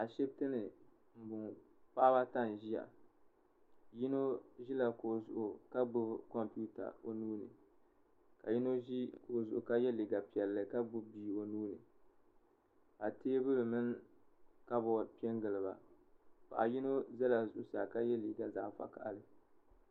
Ashiptini m boŋɔ paɣaba ata n ʒia yino ʒila kuɣu zuɣu ka gbibi kompita ka yino ʒi kuɣu zuɣu ka ye liiga piɛlli ka gbibi bia o nuuni ka teebuli mini kabori piɛngili ba paɣa yino ʒɛla zuɣusaa ka ye liiga zaɣa vakahali.